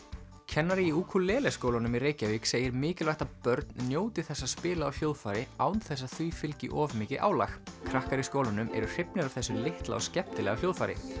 kennari í Ukulele skólanum í Reykjavík segir mikilvægt að börn njóti þess að spila á hljóðfæri án þess að því fylgi of mikið álag krakkar í skólanum eru hrifnir af þessu litla og skemmtilega hljóðfæri